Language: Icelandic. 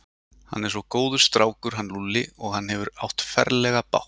Hann er svo góður strákur hann Lúlli og hann hefur átt ferlega bágt.